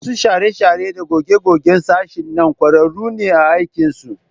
Masu share-share da goge-gogen sashen nan ƙwararru ne a aikinsu